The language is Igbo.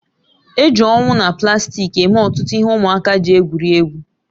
Eji owu na plastiki eme ọtụtụ ihe ụmụaka ji egwuri egwu